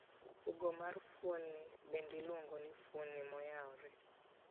Pogo mar fuoni bende iluongo ni fuoni moyaore.